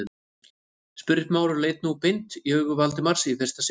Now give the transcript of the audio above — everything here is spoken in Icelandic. spurði Smári og leit nú beint í augu Valdimars í fyrsta sinn.